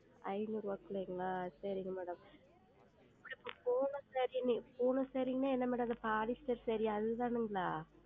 ஐநூறு ரூபாய்க்கு உள்ளேங்ளா சேரிங்க Madam Poonam Saree Poonam Saree ன்னா என்ன Madam அந்த Polyester Saree யா அதுதானுங்ளா?